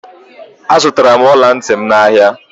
Azutara m ola nti m n'ahia